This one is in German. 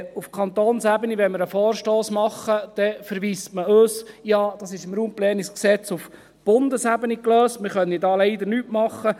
Auf Kantonsebene verweist man uns, wenn wir einen Vorstoss machen, darauf, dass dies im RPG auf Bundesebene gelöst sei, da könne man leider nichts machen.